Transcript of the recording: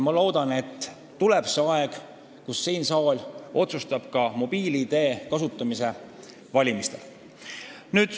Loodan, et millalgi tuleb aeg, kus see saal otsustab heaks kiita mobiil-ID kasutamise valimistel.